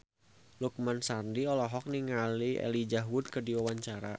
Lukman Sardi olohok ningali Elijah Wood keur diwawancara